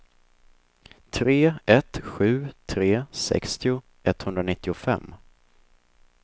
tre ett sju tre sextio etthundranittiofem